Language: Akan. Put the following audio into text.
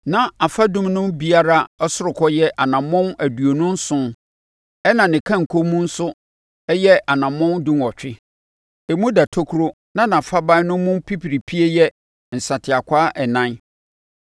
Na afadum no biara ɔsorokɔ yɛ anammɔn aduonu nson ɛnna ne kanko mu nso yɛ anammɔn dunwɔtwe. Emu da tokuro na nʼafaban no mu pipiripie yɛ nsateakwaa ɛnan.